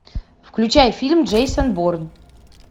включай фильм джейсон борн